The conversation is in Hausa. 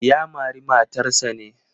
Ya mari matarsa ne?